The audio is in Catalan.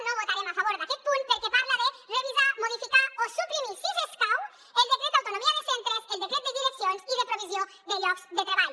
no votarem a favor d’aquest punt perquè parla de revisar modificar o suprimir si escau el decret d’autonomia de centres el decret de direccions i de provisió de llocs de treball